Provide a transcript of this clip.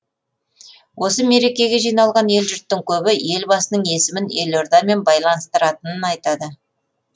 осы мерекеге жиналған ел жұрттың көбі елбасының есімін елордамен байланыстыратынын айтады